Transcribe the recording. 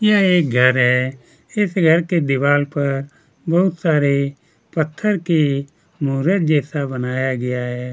यह एक घर है इस घर के दीवार पर बहुत सारे पत्थर की मूर्त जैसा बनाया गया है।